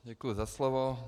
Děkuji za slovo.